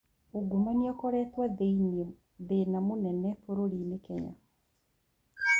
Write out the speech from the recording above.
Ungumania ũkoretwo thĩĩna mũnene bũrũri-inĩ Kenya.